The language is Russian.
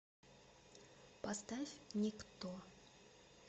поставь никто